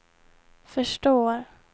förstår